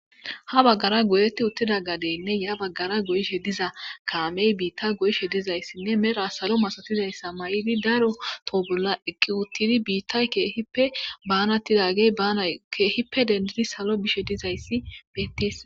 ha baggara goyetti uttida gadeynne ya baggara goyishe diza kaamey biitta go7ishe dizayssinne mera salo masotizayssa may7idi daro toobulla eqqi uttidi biittay kbaanatidagey aakeehippe dendidi salo bishe dizayssi beettees